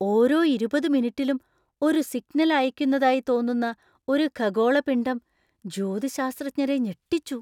ഓരോ ഇരുപത്‌ മിനിറ്റിലും ഒരു സിഗ്നൽ അയക്കുന്നതായി തോന്നുന്ന ഒരു ഖഗോളപിണ്ഡം ജ്യോതിശാസ്ത്രജ്ഞരെ ഞെട്ടിച്ചു.